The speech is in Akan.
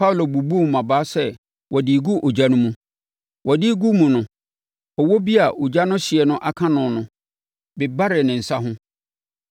Paulo bubuu mmabaa sɛ ɔde regu ogya no mu. Ɔde regu mu no, ɔwɔ bi a ogya no hyeɛ aka no no, bebaree ne nsa ho.